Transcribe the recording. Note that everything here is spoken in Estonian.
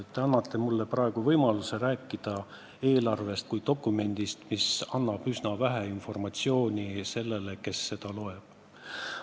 Te annate mulle praegu võimaluse rääkida eelarvest kui dokumendist, mis annab üsna vähe informatsiooni sellele, kes seda loeb.